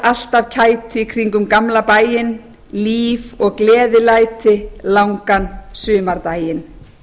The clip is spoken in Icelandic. allt af kæti kringum gamla bæinn líf og gleðilæti langan sumardaginn